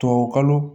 Tubabukalo